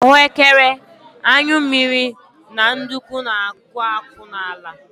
Ahuekere, anyụ mmiri na nduku na-akwụ akwụ n'ala